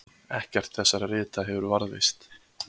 ekkert þessara rita hefur varðveist